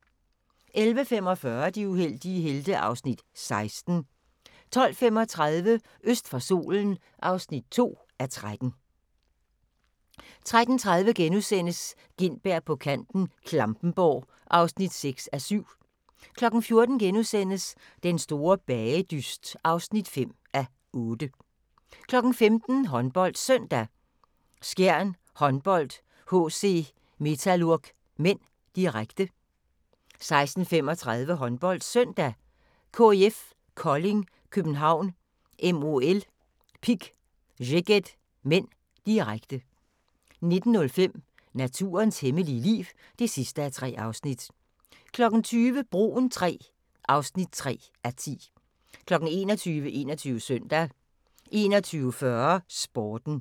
11:45: De uheldige helte (Afs. 16) 12:35: Øst for solen (2:13) 13:30: Gintberg på kanten - Klampenborg (6:7)* 14:00: Den store bagedyst (5:8)* 15:00: HåndboldSøndag: Skjern Håndbold-HC Metalurg (m), direkte 16:35: HåndboldSøndag: KIF Kolding København-MOL Pick Szeged (m), direkte 19:05: Naturens hemmelige liv (3:3) 20:00: Broen III (3:10) 21:00: 21 Søndag 21:40: Sporten